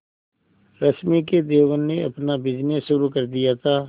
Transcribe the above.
रश्मि के देवर ने अपना बिजनेस शुरू कर दिया था